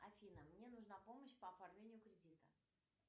афина мне нужна помощь по оформлению кредита